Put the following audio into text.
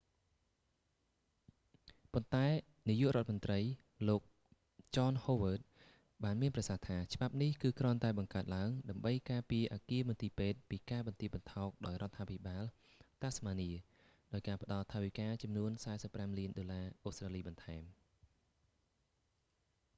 ប៉ុន្តែនាយករដ្ឋមន្រ្តី លោក john howard ចន ហូវឺដ បានមានប្រសាសន៍ថា ច្បាប់នេះ គឺគ្រាន់តែបង្កើតឡើង ដើម្បីការពារអគារមន្ទីរពេទ្យពីការបន្ទាបបន្ថោកដោយរដ្ឋាភិបាល tasmanian តាសម៉ានី ដោយការផ្តល់ថវិកាចំនួន 45 លានដុល្លារអូស្ត្រាលីបន្ថែម